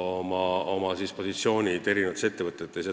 oma positsioonid mitmes ettevõttes.